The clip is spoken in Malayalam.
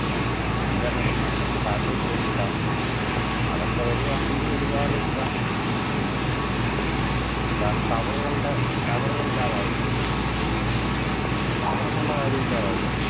ഏർ internet നെ satellite വഴി വിടാം അതൊക്കെ വരുവാണെങ്കിൽ ഒരുപാട് ഇതാണ് കാരണം tower കളുടെ tower കൾ ഇല്ലാതാവു tower ന്നുള്ള കാര്യം ഇല്ലാതാവുകയാണ്